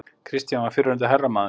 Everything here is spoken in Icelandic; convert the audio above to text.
Christian var fyrrverandi hermaður.